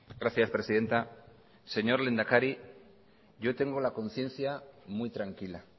gracias presidenta señor lehendakari yo tengo la conciencia muy tranquila